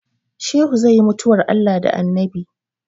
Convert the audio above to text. Shehu zai yi mutuwar Allah da Annabi